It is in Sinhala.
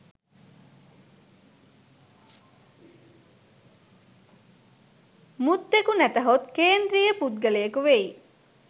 මුත්තෙකු නැතහොත් කේන්ද්‍රීය පුද්ගලයෙකු වෙයි